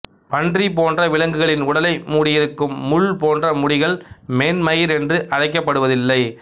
பன்றி போன்ற விலங்குகளின் உடலை மூடியிருக்கும் முள் போன்ற முடிகள் மென்மயிர் என்று அழைக்கப்படுவதில்லை